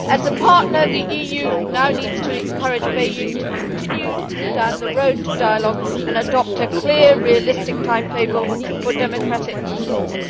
As a partner, the EU now needs to encourage Beijing to continue down the road to dialogue and adopt a clear, realistic timetable for democratic reforms.